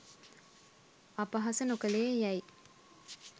අපහාස නොකලේ යැයි